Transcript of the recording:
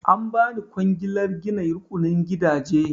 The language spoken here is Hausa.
An ba ni kwangilar gina rukunin gidaje.